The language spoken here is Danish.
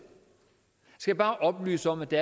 så bare oplyse om at det